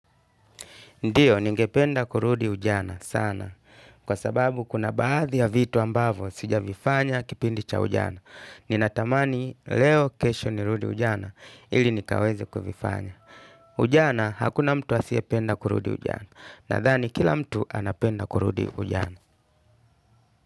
Ndiyo ningependa kurudi ujana sana kwa sababu kuna baadhi ya vitu ambavo sijavifanya kipindi cha ujana. Ninatamani leo kesho nirudi ujana ili nikaweze kuvifanya. Ujana hakuna mtu asiyependa kurudi ujana nathani kila mtu anapenda kurudi ujana.